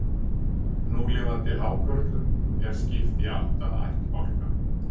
Núlifandi hákörlum er skipt í átta ættbálka.